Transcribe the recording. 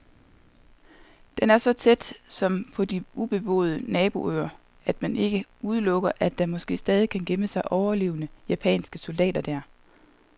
Den er så tæt, som på de ubeboede naboøer, at man ikke udelukker, at der måske stadig kan gemme sig overlevende japanske soldater der.